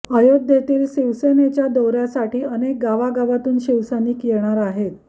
अयोध्येतील शिवसेनेच्या दौर्यासाठी अनेक गावागावांतून शिवसैनिक येणार आहेत